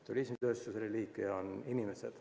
" Turismitööstuse reliikvia on inimesed.